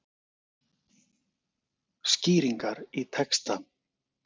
Skýringar í texta.